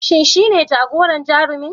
Shin shine jagoran Jarumin